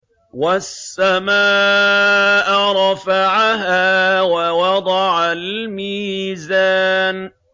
وَالسَّمَاءَ رَفَعَهَا وَوَضَعَ الْمِيزَانَ